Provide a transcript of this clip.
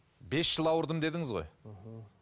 бес жыл ауырдым дедіңіз ғой мхм